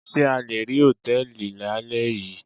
Ṣé a le rí Hòtẹ́lìì lálẹ́ yìí.